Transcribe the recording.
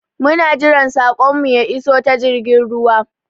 Muna jiran saƙon mu ya iso ta jirgin ruwa